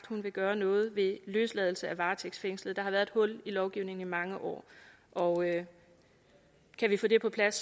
hun vil gøre noget ved løsladelse af varetægtsfængslede der har været et hul i lovgivningen i mange år og kan vi få det på plads